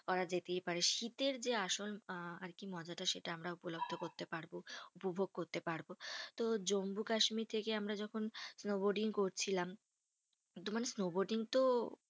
করা যেতেই পারে। শীতের যে আসল আহ মজাটা সেটা আমরা উপলব্ধ করতে পারবো, উপভোগ করতে পারবো। তো জম্মু কাশ্মীর থেকে আমরা যখন snowboarding করছিলাম, কিন্তু মানে snowboarding তো